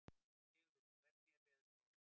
Sigurliði, hvernig er veðurspáin?